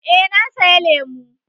Eh na saya lemu